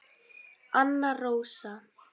Anna Rósa.